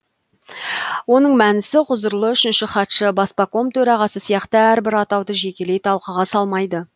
оның мәнісі ғұзырлы үшінші хатшы баспаком төрағасы сияқты әрбір атауды жекелей талқыға салмайды